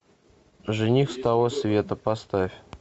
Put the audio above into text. жених с того света поставь